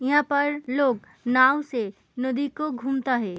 यहाँ पर लोग नाव से नदी को घूमता है।